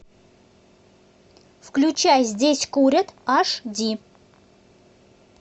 включай здесь курят аш ди